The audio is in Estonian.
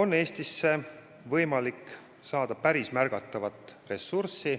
on Eestil võimalik saada päris märkimisväärset ressurssi.